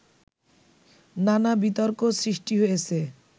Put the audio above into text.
নানা বিতর্ক সৃষ্টি হয়েছে